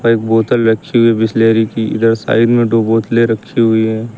और एक बोतल रखी हुई बिसलेरी की। इधर साइड में दो बोतलें रखी हुई है।